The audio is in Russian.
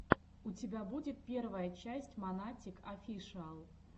у тебя будет первая часть монатик офишиал